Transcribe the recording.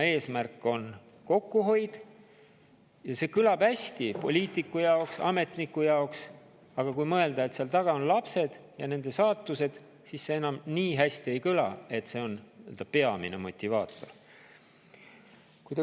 Eesmärk on kokkuhoid – see kõlab hästi poliitiku jaoks, ametniku jaoks, aga kui mõelda, et seal taga on lapsed ja nende saatused, siis see enam nii hästi ei kõla, et see on peamine motivaator.